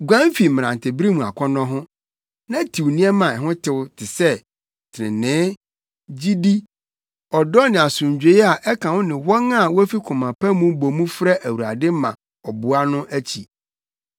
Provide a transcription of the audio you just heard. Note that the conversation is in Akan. Guan fi mmerantebere mu akɔnnɔ ho, na tiw nneɛma a ɛho tew te sɛ: trenee, gyidi, ɔdɔ ne asomdwoe a ɛka wo ne wɔn a wofi koma pa mu bɔ mu frɛ Awurade ma ɔboa no akyi.